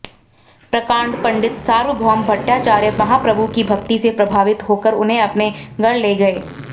प्रकांड पंडित सार्वभौम भट्टाचार्य महाप्रभु की भक्ति से प्रभावित होकर उन्हें अपने घर ले गए